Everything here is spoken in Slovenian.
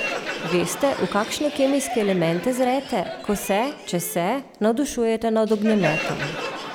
Veste v kakšne kemijske elemente zrete, ko se, če se, navdušujete nad ognjemetom?